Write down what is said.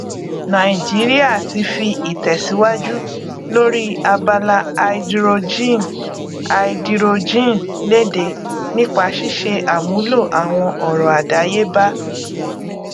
nàìjíríà ti fi ìtẹsíwájú lóri abala háídírójìn háídírójìn léde nípa ṣíṣe àmúlo àwọn ọrọ àdáyébá